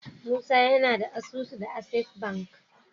musa yAna da asusu da access banki